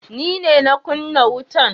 Ni ne na kunna wutan.